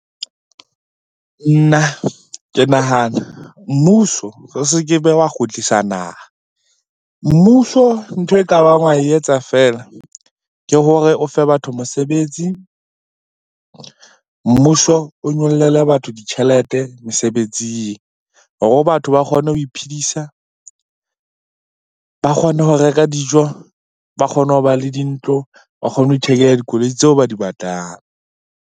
Nna ke nahana mmuso o se ke be wa kgutlisa naha. Mmuso ntho e ka bang wa etsa feela ke hore o fe batho mosebetsi. Mmuso o nyollele batho ditjhelete mosebetsing hore batho ba kgone ho iphedisa, ba kgone ho reka dijo, ba kgone ho ba le dintlo, ba kgone ho ithekela dikoloi tseo ba di batlang.